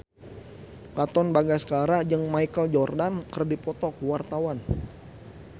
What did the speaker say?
Katon Bagaskara jeung Michael Jordan keur dipoto ku wartawan